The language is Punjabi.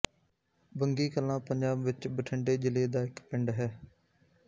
ਬੰਗੀ ਕਲਾਂ ਪੰਜਾਬ ਵਿੱਚ ਬਠਿੰਡੇ ਜ਼ਿਲ੍ਹੇ ਦਾ ਇੱਕ ਪਿੰਡ ਹੈ